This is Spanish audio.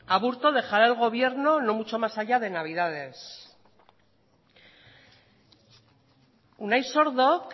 aburto dejará el gobierno no mucho más allá que navidades unai sordok